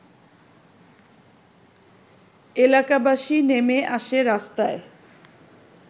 এলাকাবাসী নেমে আসে রাস্তায়